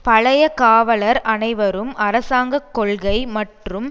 பழைய காவலர் அனைவரும் அரசாங்க கொள்கை மற்றும்